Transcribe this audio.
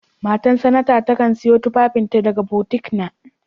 Matan sanata takan sayo tufafin ta daga butiƙ na.